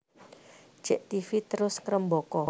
Jek Tv terus ngrembaka